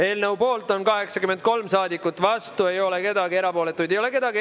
Eelnõu poolt on 83 saadikut, vastu ei ole keegi, erapooletu ei ole keegi.